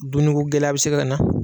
Dumunuko gɛlɛya bɛ se ka na.